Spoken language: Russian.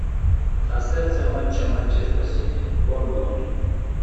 трансляция матча манчестер сити борнмут